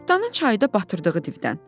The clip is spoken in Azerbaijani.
Cırtdanın çayda batırdığı divdən.